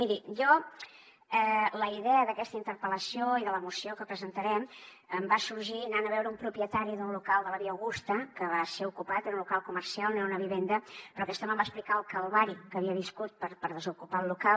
miri jo la idea d’aquesta interpel·lació i de la moció que presentarem em va sorgir anant a veure un propietari d’un local de la via augusta que va ser ocupat era un local comercial no era un habitatge però aquest home em va explicar el calvari que havia viscut per desocupar el local